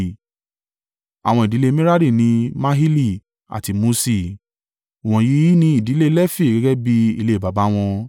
Àwọn ìdílé Merari ni: Mahili àti Muṣi. Wọ̀nyí ni ìdílé Lefi gẹ́gẹ́ bí ilé baba wọn.